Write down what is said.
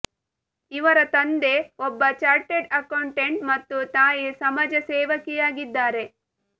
ಇವರ ತಂದೆ ಒಬ್ಬ ಚಾರ್ಟೆಡ್ ಅಕೌಂಟೆಂಟ್ ಮತ್ತು ತಾಯಿ ಸಮಾಜ ಸೇವಕಿಯಾಗಿದ್ದಾರೆ